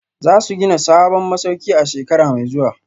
Za su gina sabon masauki a shekara mai zuwa